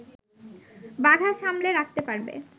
বাঘা সামলে রাখতে পারবে